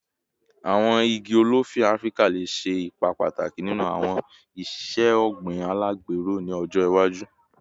Awọn igi olifi Afirika le ṣe ipa pataki ninu awọn iṣe ogbin alagbero ni ọjọ iwaju